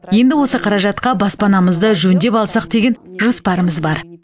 енді осы қаражатқа баспанамызды жөндеп алсақ деген жоспарымыз бар